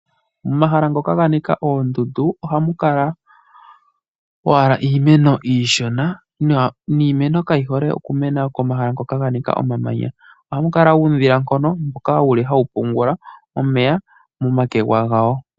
Omahala ngoka ga nika oondundu ohamu kala owala iimeno iishona niimeno kayi hole oku mena komahala ngoka ga nika omamanya. Ohaku kala uudhilankono mboka wuli hawu pungula omeya momakwega gawo.